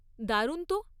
দারুণ তো!